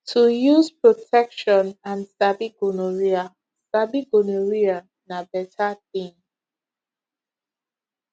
to use protection and sabi gonorrhea sabi gonorrhea na better thing